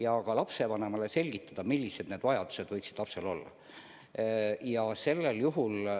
Ka saab lapsevanemale selgitada, millised vajadused tema lapsel võiksid olla.